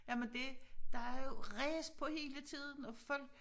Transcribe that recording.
Jamen det der er jo ræs på hele tiden og folk